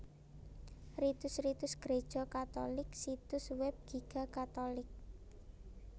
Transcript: Ritus Ritus Gréja Katulik Situs Web Giga catholic